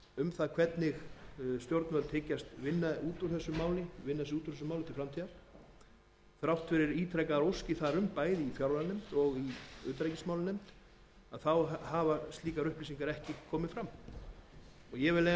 um hvernig stjórnvöld hyggjast vinna sig út úr þessum málum til framtíðar þrátt fyrir ítrekaðar óskir þar um bæði í fjármálanefnd og utanríkismálanefnd hafa slíkar upplýsingar ekki komið fram ég vil leyfa mér